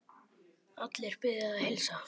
Allir biðja að heilsa.